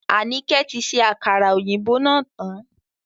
Anike tí ṣe àkàrà òyìnbó náà tán